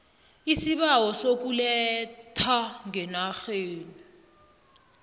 eisibawo sokuletha ngenarheni